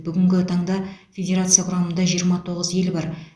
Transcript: бүгінгі таңда федерация құрамында жиырма тоғыз ел бар